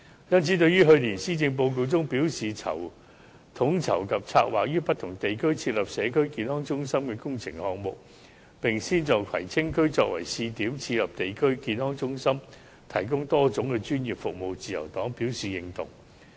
故此，對於去年施政報告表示，統籌及策劃於不同地區設立社區康健中心工程項目，並先在葵青區作為試點，設立地區康健中心，提供多種專業服務，自由黨表示認同。